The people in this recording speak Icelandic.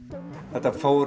þetta fór